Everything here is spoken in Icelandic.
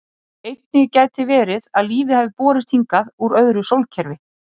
Einnig gæti verið að lífið hafi borist hingað úr öðru sólkerfi.